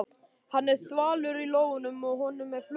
Hann er þvalur í lófunum og honum er flökurt.